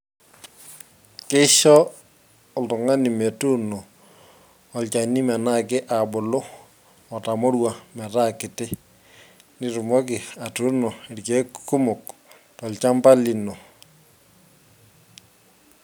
Keisho oltung'ani metuuno olchani menyaaki abulu otamorua metaa kiti nitumoki atuuno irkeek kumok tolchampa lino.